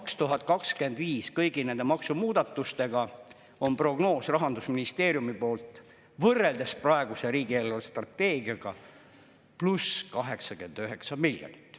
2025 kõigi nende maksumuudatustega on Rahandusministeeriumi prognoos võrreldes praeguse riigi eelarvestrateegiaga pluss 89 miljonit.